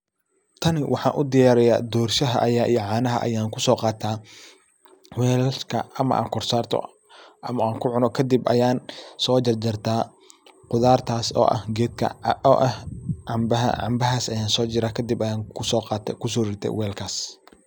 Tani waxan u diyariya dorshaha iyo canaha ayan uso qataa ,walasha ama an kor sarto ama an kucuno ,kadib ayan so jarjarta khudartas oo ah gedka canbaha. Canbahas ayan kadib kuso ritaa walkas.